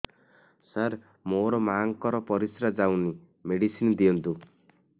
ସାର ମୋର ମାଆଙ୍କର ପରିସ୍ରା ଯାଉନି ମେଡିସିନ ଦିଅନ୍ତୁ